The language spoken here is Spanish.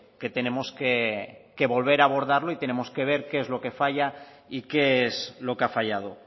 que tenemos que volver a abordarlo y tenemos que ver qué es lo que falla y qué es lo que ha fallado